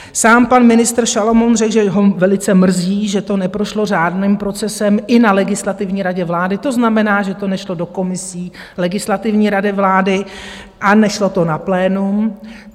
Sám pan ministr Šalomoun řekl, že ho velice mrzí, že to neprošlo řádným procesem i na Legislativní radě vlády, to znamená, že to nešlo do komisí Legislativní rady vlády a nešlo to na plénum.